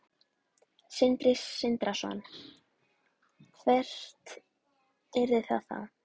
Sindri Sindrason: Hvert yrði það þá?